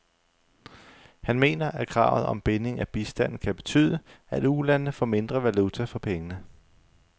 Han mener, at kravet om binding af bistanden kan betyde, at ulandene får mindre valuta for pengene.